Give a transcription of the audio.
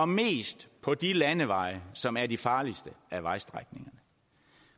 mindst på de landeveje som er de farligste vejstrækninger